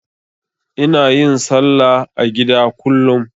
Ina yin salla a gida kullum.